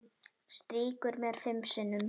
Strýkur mér fimm sinnum.